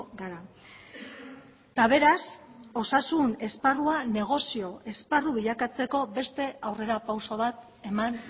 gara eta beraz osasun esparrua negozio esparru bilakatzeko beste aurrerapauso bat eman